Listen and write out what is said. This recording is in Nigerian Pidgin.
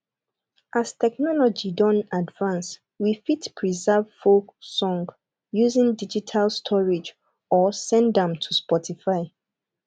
as technology don advance we fit preserve folk song using digital storage or send am to spotify